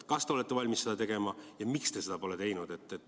Kas te olete valmis seda tegema ja miks te seda pole teinud?